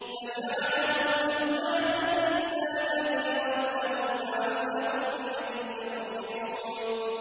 فَجَعَلَهُمْ جُذَاذًا إِلَّا كَبِيرًا لَّهُمْ لَعَلَّهُمْ إِلَيْهِ يَرْجِعُونَ